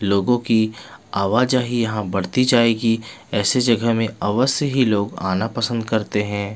लोगों की आवा जावा यहाँ बढ़ती जाएगी ऐसी जगह में अवास से ही लोग आना पसंद करते है.